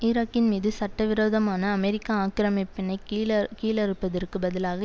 ஈராக்கின் மீது சட்டவிரோதமான அமெரிக்க ஆக்கிரமிப்பினை கீழகீழறுப்பதற்கு பதிலாக